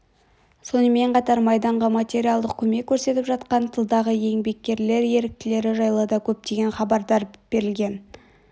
сонымен қатар майданға материалдық көмек көрсетіп жатқан тылдағы еңбеккерлер ерліктері жайлы да көптеген хабарлар берілген